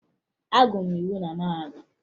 Agụrụ m iwu na mahadum